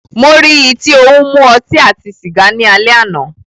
Mó rí í tí o ń mú ọtí àti sìgá ni alẹ́ àná.